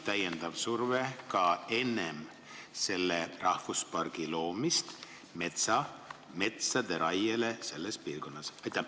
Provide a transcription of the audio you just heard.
Ja kas enne selle rahvuspargi loomist on tekkinud ka täiendav surve metsade raiele selles piirkonnas?